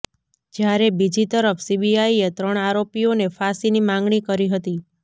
જ્યારે બીજી તરફ સીબીઆઇએ ત્રણ આરોપીઓને ફાંસીની માંગણી કરી હતી